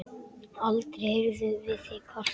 Aldrei heyrðum við þig kvarta.